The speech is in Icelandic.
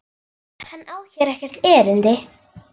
GUÐBJÖRG: Hann á hér ekkert erindi.